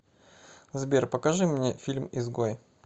сбер покажи мне фильм изгой